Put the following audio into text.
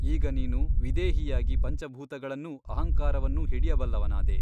ಈಗ ನೀನು ವಿದೇಹಿಯಾಗಿ ಪಂಚಭೂತಗಳನ್ನೂ ಅಹಂಕಾರವನ್ನೂ ಹಿಡಿಯಬಲ್ಲವನಾದೆ.